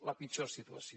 la pitjor situació